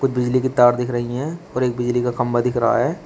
कुछ बिजली की तार दिख रही है और एक बिजली का खंबा दिख रहा है।